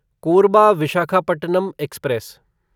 Korba Visakhapatnam express